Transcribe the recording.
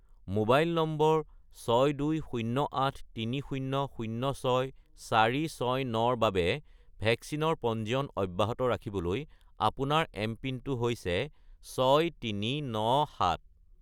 mobile নম্বৰ 62083006469 -ৰ বাবে ভেকচিনৰ পঞ্জীয়ন অব্যাহত ৰাখিবলৈ আপোনাৰ এমপিনটো হৈছে 6397